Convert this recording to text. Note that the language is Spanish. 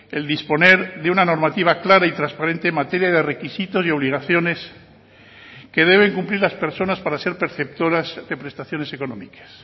el disponer de una normativa clara y transparente en materia de requisitos y obligaciones que deben cumplir las personas para ser perceptoras de prestaciones económicas